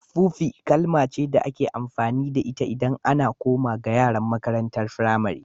Fufi kalma ce da ake amfani da ita idan ana koma ga yaran makarantan firamari.